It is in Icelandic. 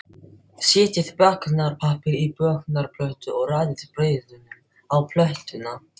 Setjið bökunarpappír á bökunarplötu og raðið brauðunum á plötuna.